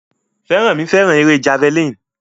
Feranmi fẹ́ràn eré Javelin